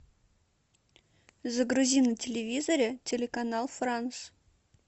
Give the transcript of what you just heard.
загрузи на телевизоре телеканал франс